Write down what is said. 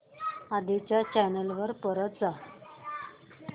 आधी च्या चॅनल वर परत जा